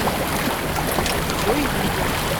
джой видел